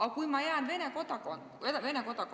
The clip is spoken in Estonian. Aga kui ma jääksin Vene kodanikuks ...